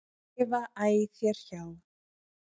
lifa æ þér hjá.